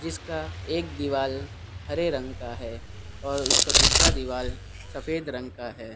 इसका एक दीवाल हरे रंग का हैं और उसका दूसरा दीवाल सफेद रंग का हैं।